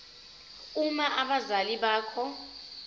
uma abazali bakho